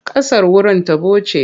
Ƙasar wurin taɓo ce.